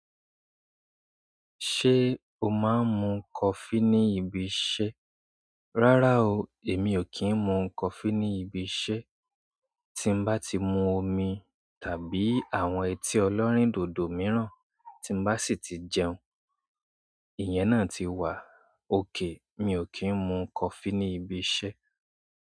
Ṣé o máa ń mu coffee ní ibi iṣẹ́? Rárá o, èmi ò kí ń mu coffee ní ibi iṣẹ́. Tí bá ti mu omi tàbí àwọn otí ẹlẹ́rìndòdò mìíràn tí bá sì tí jẹun, ìyẹn náà ti wà okay. Mi ò kí ń mu coffee ní ibi iṣẹ́.